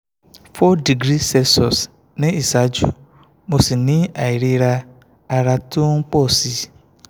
four degree celsius ní ìsánjú mo sì ní àìríra ara tó ń pọ̀ sí i